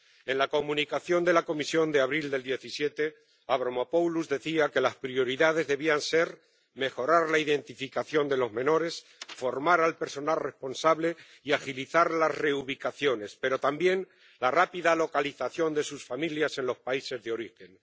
En la Comunicación de la Comisión de abril de 2017 Avramopoulos decía que las prioridades debían ser mejorar la identificación de los menores, formar al personal responsable y agilizar las reubicaciones, pero también la rápida localización de sus familias en los países de origen.